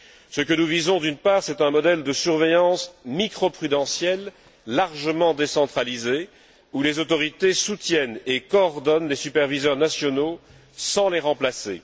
Ce que nous visons, d'une part, c'est un modèle de surveillance microprudentielle largement décentralisé, où les autorités soutiennent et coordonnent les superviseurs nationaux sans les remplacer.